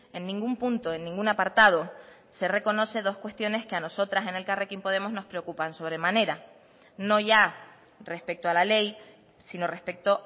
en ningún punto en ningún apartado se reconoce dos cuestiones que a nosotras en elkarrekin podemos nos preocupan sobremanera no ya respecto a la ley sino respecto